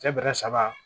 Cɛ bɛrɛ saba